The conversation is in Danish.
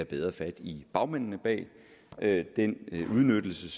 bedre fat i bagmændene bag den udnyttelse